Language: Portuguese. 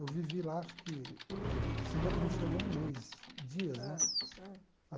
Eu vivi lá acho que...se não não chegou a um mês, dias, né?